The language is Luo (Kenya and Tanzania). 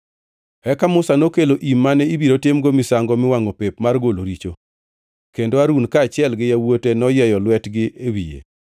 Eka Musa nokelo im mane ibiro timgo misango miwangʼo pep mar golo richo, kendo Harun kaachiel gi yawuote noyieyo lwetgi e wiye.